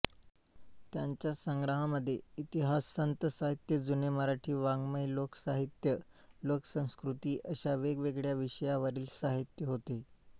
त्यांच्या संग्रहामध्ये इतिहास संत साहित्य जुने मराठी वाङ्मय लोकसाहित्य लोकसंस्कृती अशा वेगवेगळ्या विषयांवरील साहित्य आहे